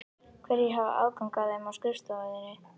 Hverjir hafa aðgang að þeim á skrifstofu þinni?